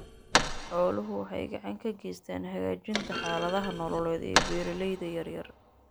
Xooluhu waxay gacan ka geystaan ??hagaajinta xaaladaha nololeed ee beeralayda yaryar.